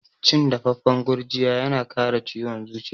Cin dafaffan gurjiya yana kare ciwon zuciya.